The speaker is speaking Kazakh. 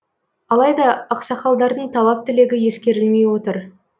алайда ақсақалдардың талап тілегі ескерілмей отыр